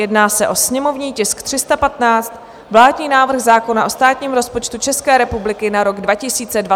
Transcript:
Jedná se o sněmovní tisk 315 - vládní návrh zákona o státním rozpočtu České republiky na rok 2023, a to druhé čtení.